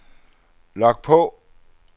log på